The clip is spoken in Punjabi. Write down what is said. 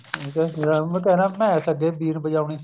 ਹਾਂ ਇੱਕ ਇਹ ਤਾ ਨਾ ਮੈਸ ਅੱਗੇ ਬੀਣ ਬਜਾਉਣੀ